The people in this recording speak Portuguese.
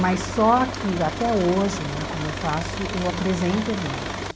Mas só que até hoje né, como eu faço, eu apresento eventos.